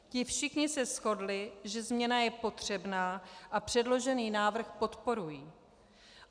Ti všichni se shodli, že změna je potřebná, a předložený návrh podporují.